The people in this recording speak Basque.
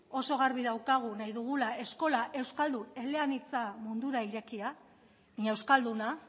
oso garbi daukagu nahi dugula eskola euskaldun eleanitza mundura irekia baina euskalduna